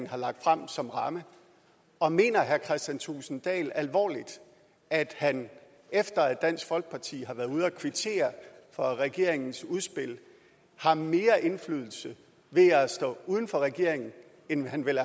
har lagt frem som ramme og mener herre kristian thulesen dahl alvorligt at han efter at dansk folkeparti har været ude at kvittere for regeringens udspil har mere indflydelse ved at stå uden for regeringen end han ville